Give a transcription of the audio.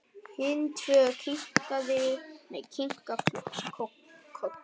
Hin tvö kinka kolli.